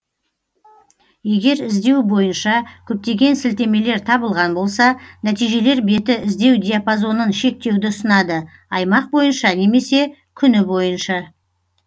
егер іздеу бойынша көптеген сілтемелер табылған болса нәтижелер беті іздеу диапазонын шектеуді ұсынады аймақ бойынша немесе күні бойынша